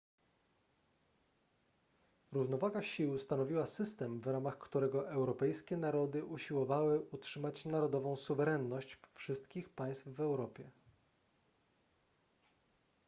równowaga sił stanowiła system w ramach którego europejskie narody usiłowały utrzymać narodową suwerenność wszystkich państw w europie